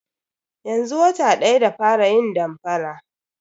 Yanzu wata daya da fara yin damfara.